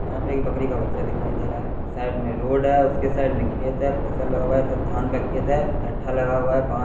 यहाँ पे एक बकरी का बच्चा दिखाई दे रहा है साइड में रोड है उसके साइड में खेत है फसल लगा हुआ है शायद धान का खेत है ढट्ठा लगा हुआ बां --